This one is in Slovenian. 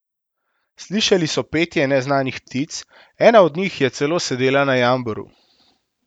Slišali so petje neznanih ptic, ena od njih je celo sedela na jamboru.